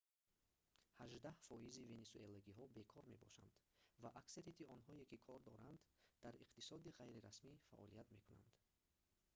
ҳаждаҳ фоизи венесуэлагиҳо бекор мебошанд ва аксарияти онҳое ки кор доранд дар иқтисоди ғайрирасмӣ фаъолият мекунанд